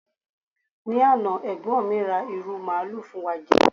ni Ana egbon mi ra iru maalu fún wa je